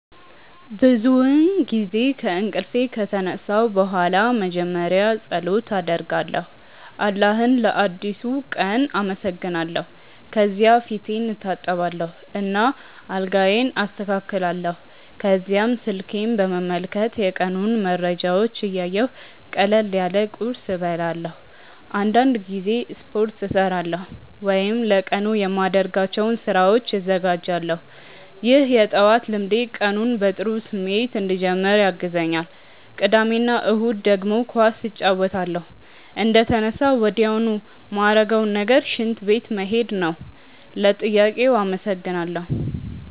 ብዙውን ጊዜ ከእንቅልፌ ከተነሳሁ በኋላ መጀመሪያ ፀሎት አደርጋለሁ አላህን ለአዲሱ ቀን አመሰግናለሁ። ከዚያ ፊቴን እታጠባለሁ እና አልጋዬን አስተካክላለሁ። ከዚያም ስልኬን በመመልከት የቀኑን መረጃዎች እያየሁ ቀለል ያለ ቁርስ እበላለሁ። አንዳንድ ጊዜ ስፖርት እሠራለሁ ወይም ለቀኑ የማደርጋቸውን ስራዎች እዘጋጃለሁ። ይህ የጠዋት ልምዴ ቀኑን በጥሩ ስሜት እንድጀምር ያግዘኛል። ቅዳሜ እና እሁድ ደግሞ ኳስ እጫወታለሁ። እንደተነሳሁ ወዲያውኑ ማረገው ነገር ሽንት ቤት መሄድ ነው። ለጥያቄው አመሰግናለው።